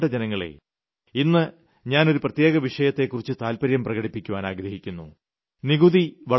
എന്റെ പ്രിയപ്പെട്ട ജനങ്ങളേ ഇന്ന് ഞാൻ ഒരു പ്രത്യേക വിഷയത്തെക്കുറിച്ച് താല്പര്യം പ്രകടിപ്പിക്കുവാൻ ആഗ്രഹിക്കുന്നു